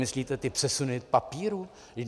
Myslíte ty přesuny papíru?